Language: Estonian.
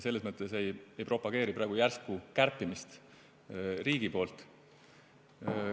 Selles mõttes me ei propageeri praegu järsku kärpimist riigi poolt.